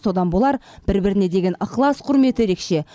содан болар бір біріне деген ықылас құрметі ерекше